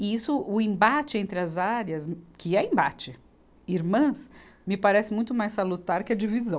E isso, o embate entre as áreas, que é embate, irmãs, me parece muito mais salutar que a divisão.